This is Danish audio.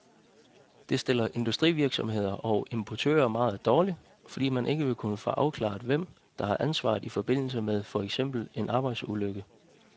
Det stiller industrivirksomheder og importører meget dårligt, fordi man ikke vil kunne få afklaret hvem, der har ansvaret i forbindelse med for eksempel en arbejdsulykke.